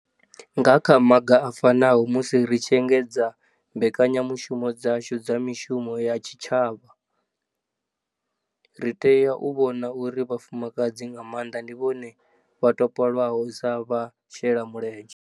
Nga kha maga a fanaho, musi ri tshi engedza mbekanyamushumo dzashu dza mishumo ya tshishavha, ri tea u vhona uri vhafumakadzana nga maanḓa ndi vhone vha topolwaho sa vhashelamulenzhe.